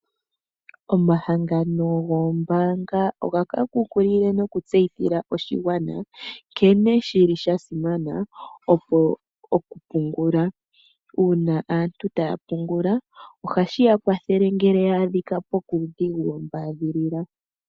Omahangano goombaanga ohaga kunkilile noku tseyithila oshigwana nkene shili shasimana oku pungula . Uuna aantu taya pungula ohashi yakwathele ngele ya adhika kuudhigu wo mbaadhilila.